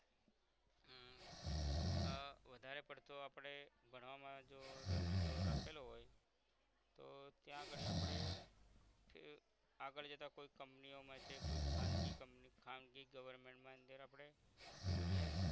આહ વધારે પડતું આપણે ભણવામાં જો રસ જો રાખેલો હોય તો ત્યાં અગાળી આપણે આગળ જતાં કોઈ company ઓ માં છે કોઈ ખાનગી company ખાનગી government મા અંદર આપણે અભ્યાસ